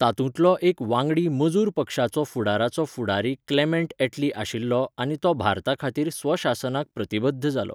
तातूंतलो एक वांगडी मजूर पक्षाचो फुडाराचो फुडारी क्लेमेंट ऍटली आशिल्लो आनी तो भारताखातीर स्वशासनाक प्रतिबद्ध जालो.